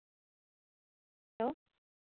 hello